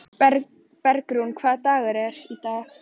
Bergrún, hvaða dagur er í dag?